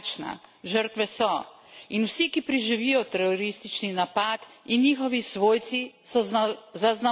In vsi, ki preživijo teroristični napad, in njihovi svojci so zaznamovani za celo življenje.